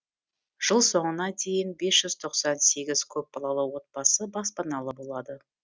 жыл соңына дейін бес жүз тоқсан сегіз көпбалалы отбасы баспаналы болады